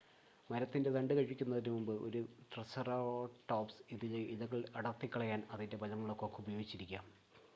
മരത്തിൻ്റെ തണ്ട് കഴിക്കുന്നതിനുമുൻപ് ഒരു ട്രിസെറാടോപ്സ് അതിലെ ഇലകൾ അടർത്തിക്കളയാൻ അതിൻ്റെ ബലമുള്ള കൊക്ക് ഉപയോഗിച്ചിരിക്കാം